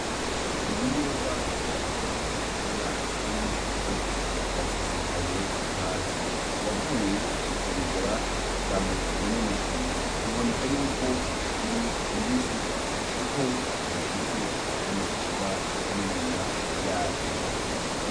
Ibiyoba nkuko mubibona kurino foto vyasesekaye hasi. Uwavuye kubigura vyamumenyekanye. Biboneka yuko bikiri bibisi kuko bigifishe n'amashishwa y'inyuma yavyo.